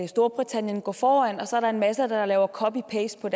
storbritannien går foran og så er der en masse der laver copy paste